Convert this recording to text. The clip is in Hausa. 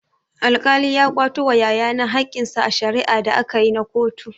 Alkali ya kwato wa yaya na hakkinsa a shari'a da akayi na kotu.